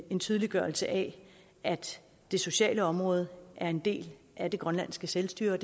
en tydeliggørelse af at det sociale område er en del af det grønlandske selvstyre og